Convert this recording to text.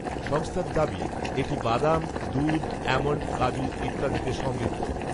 সংস্থার দাবি, এটি বাদাম, দুধ, অ্যামণ্ড, কাজু, ইত্যাদিতে সমৃদ্ধ